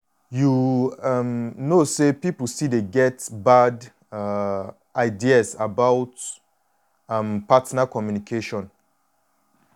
you um know say people still dey get bad um ideas about um partner communication.